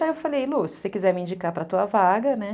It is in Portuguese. Aí eu falei, Lu, se você quiser me indicar para a tua vaga, né?